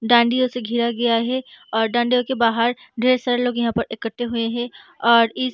डांडिया से घेरा गया है और डांडिया के बाहर ढेर सारे लोग यहाँ पर इकट्टे हुए हैं और इस --